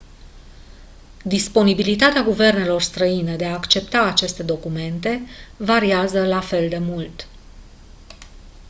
disponibilitatea guvernelor străine de a accepta aceste documente variază la fel de mult